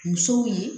Musow ye